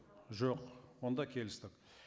жоқ онда келістік